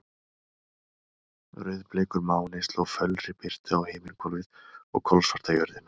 Rauðbleikur máni sló fölri birtu á himinhvolfið og kolsvarta jörðina.